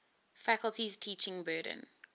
faculty's teaching burden